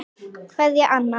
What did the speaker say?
Kveðja, Anna.